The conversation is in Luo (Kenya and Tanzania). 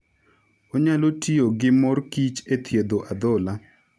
Onyalo tiyo gi mor kich e thiedho adhola.